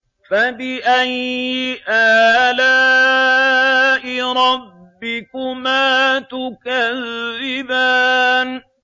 فَبِأَيِّ آلَاءِ رَبِّكُمَا تُكَذِّبَانِ